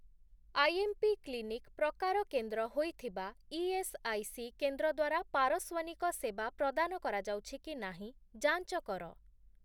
IMP clinic' ପ୍ରକାର କେନ୍ଦ୍ର ହୋଇଥିବା ଇଏସ୍ଆଇସି କେନ୍ଦ୍ର ଦ୍ୱାରା ପାରସ୍ଵନିକ ସେବା ପ୍ରଦାନ କରାଯାଉଛି କି ନାହିଁ ଯାଞ୍ଚ କର ।